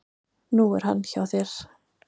Nú er hann hjá þér.